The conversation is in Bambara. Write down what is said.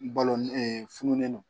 Balo fununen don